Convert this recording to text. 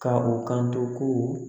Ka u kan to ko